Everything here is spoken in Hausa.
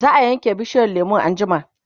zaa Yanke bishiyar lemun anjima